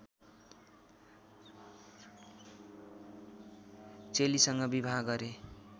चेलीसँग विवाह गरे